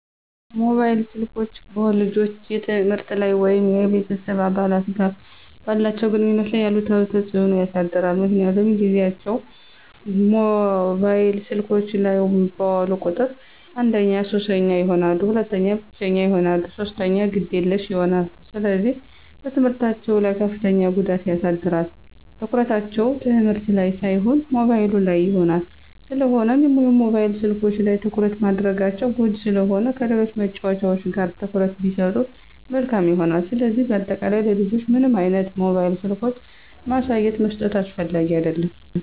ሞባይል ስልኮች በልጆች የትምህርት ላይ ወይም ከቤተሰብ አባላት ጋር ባላቸው ግንኙነት ላይ አሉታዊ ተጽዕኖ ያሳድራል ምክንያቱም ጊዚያቸውን ሞባይል ስልኮች ላይ ባዋሉ ቁጥር አንደኛ ሱሰኛ ይሆናሉ፣ ሁለተኛ ብቸኛ ይሆናሉ፣ ሶስተኛ ግዴለሽ ይሆናሉ፣ ስለዚህ በትምህርታቸው ላይ ከፍተኛ ጉዳት ያሳድራል፣ ትኩረታቸው ትምህርት ላን ሳይሆን ሞባይሉ ላይ ይሆናል። ስለሆነም የሞባይል ስልኮች ላይ ትኩረት ማድረጋቸው ጎጅ ስለሆነ ከሌሎች መጫዎቻዎች ላይ ትኩረት ቢሰጡ መልካም ይሆናል። ስለዚህ በአጠቃላይ ለልጆች ምንም አይነት ሞባይል ስልኮችን ማሳየትም መስጠትም አስፈላጊ አደለም።